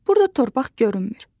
Burda torpaq görünmür.